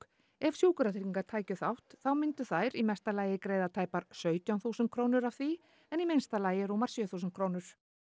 ef Sjúkratryggingar tækju þátt þá myndu þær í mesta lagi greiða tæpar sautján þúsund krónur af því en í minnsta lagi rúmar sjö þúsund krónur